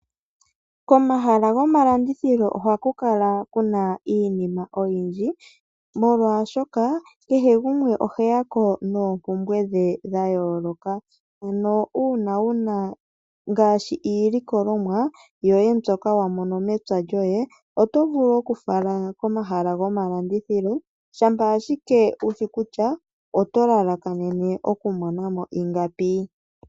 Komahala gomalandithilo ohaku kala kuna iinima oyindji molwaashoka kehe gumwe oheya ko noompumbwe dhe dha yooloka. Ano uuna wuna ngaashi iilikolomwa yoye mbyoka wamono mepya lyoye oto vulu okufala komahala gomalandithilo, shampa ashike wushi kutya oto lalakanene oku mona mo ingapi